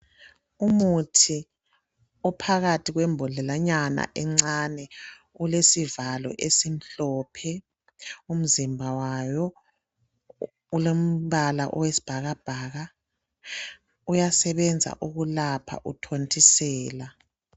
Umuthi ophakathi kwembodlelanyana encane ulesivalo esimhlophe, umzimba wayo ulombala owesibhakabhaka. Uyasebenza ukulapha uthontisela.